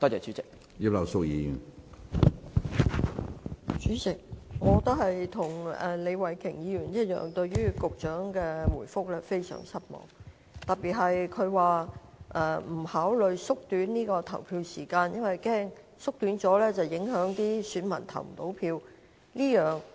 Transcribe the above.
主席，與李慧琼議員一樣，我對於局長的答覆，特別是他提及縮短投票時間或會令選民無法投票的說法，感到非常失望。